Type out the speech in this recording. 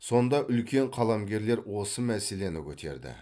сонда үлкен қаламгерлер осы мәселені көтерді